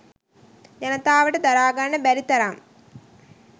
ජනතාවට දරා ගන්න බැරි තරම්.